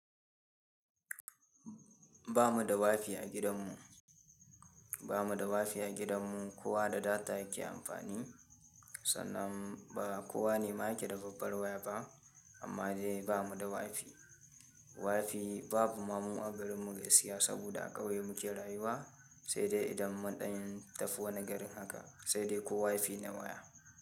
Ba mu da wifi a gidanmu, ba mu da wifi a gidanmu. Kowa da data yake amfani, sanan ba kowane ma yake da babbar waya ba amma dai ba mu da wifi. Wifi babu ma mu a garinmu gaskiya saboda a ƙauye muke rayuwa, sai dai idan mun ɗan tafi wani garin haka sai dai ko wifi na waya.